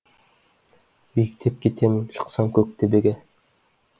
биіктеп кетемін шықсам көк төбеге